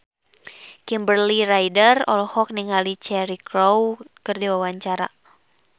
Kimberly Ryder olohok ningali Cheryl Crow keur diwawancara